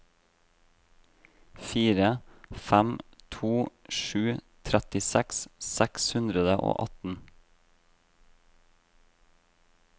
fire fem to sju trettiseks seks hundre og atten